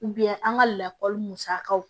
an ka lakɔli musakaw